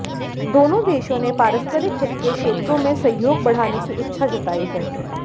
दोनों देशों ने पारस्परिक हित के क्षेत्रों में सहयोग बढ़ाने की इच्छा जताई है